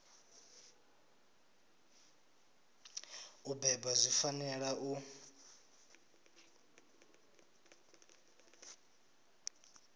u bebwa dzi fanela u